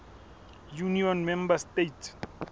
union member states